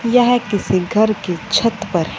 यह किसी घर की छत पर--